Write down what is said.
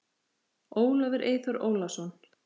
Ólafur Eyþór Ólason.